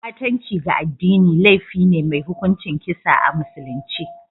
Ɓatanci ga addini laifi ne mai hukuncin kisa a musulunce